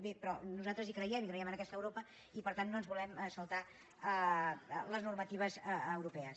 bé però nosaltres hi creiem creiem en aquesta europa i per tant no ens volem saltar les normatives europees